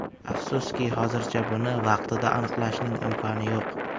Afsuski, hozircha buni vaqtida aniqlashning imkoni yo‘q.